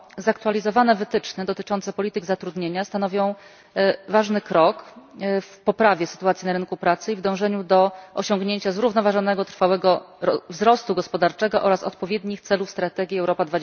Zaktualizowane wytyczne dotyczące polityk zatrudnienia stanowią ważny krok w poprawie sytuacji na rynku pracy i w dążeniu do osiągnięcia zrównoważonego trwałego wzrostu gospodarczego oraz odpowiednich celów strategii Europa